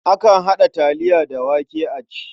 Akan haɗa taliya da wake a ci.